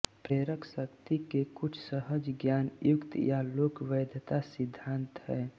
प्रेरकशक्ति के कुछ सहज ज्ञान युक्त या लोक वैधता सिद्धांत हैं